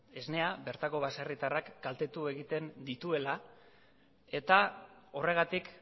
esnea bertako baserritarrak kaltetu egiten dituela eta horregatik